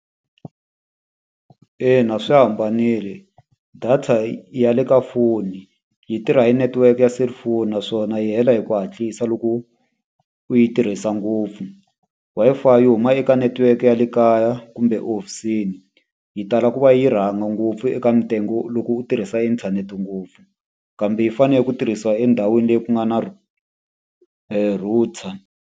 Ina swi hambanile. Data ya le ka foni yi tirha hi network ya selifoni naswona yi hela hi ku hatlisa loko u yi tirhisa ngopfu. Wi-Fi yi huma eka netiweke ya le kaya kumbe ehofisini, yi tala ku va yi rhanga ngopfu eka loko u tirhisa inthanete ngopfu. Kambe yi fanele ku tirhisiwa endhawini leyi ku nga na router.